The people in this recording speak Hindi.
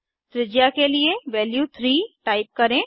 त्रिज्या के लिए वैल्यू 3 टाइप करें